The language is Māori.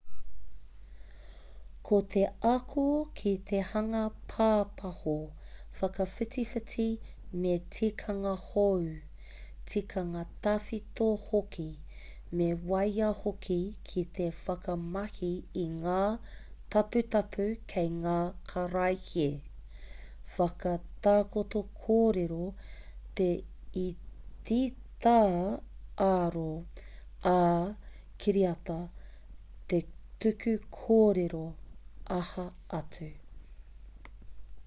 ko te ako ki te hanga pāpaho whakawhitiwhiti me tikanga hou tikanga tawhito hoki me waia hoki ki te whakamahi i ngā taputapu kei ngā karaehe whakatakoto kōrero te etitā ā-oro ā-kiriata te tuku kōrero aha atu